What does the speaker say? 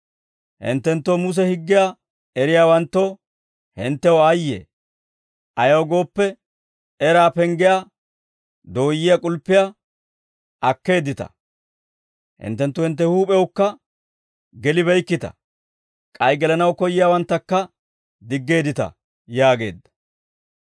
«Hinttenttoo Muse higgiyaa eriyaawanttoo, hinttew aayye! Ayaw gooppe eraa penggiyaa dooyyiyaa k'ulppiyaa akkeeddita. Hinttenttu hintte huup'ewukka gelibeykkita; k'ay gelanaw koyyiyaawanttakka diggeeddita» yaageedda.